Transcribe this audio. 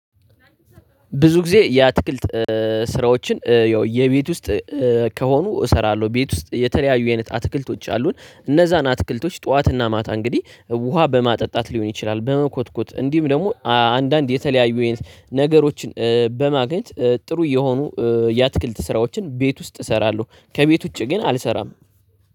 ብዙ ጊዜ የአትክልት ስራዎችን የቤት ውስጥ ከሆኑ እሰራለሁ። ቤት ውስጥ የተለያዩ የአይነት አትክልቶች አሉን እነዛን አትክልቶች ጠዋትና ማታ እንግዲህ ውሃ በማጠጣት ሊሆን ይችላል። በመኮትኮት እንዲህም ደግሞ አንዳንድ የተለያዩ የ ነገሮችን በማግኘት ጥሩ እየሆኑ የአትክልት ስራዎችን ቤት ውስጥ እሰራለሁ። ከቤት ውጪ ግን አልሰራም።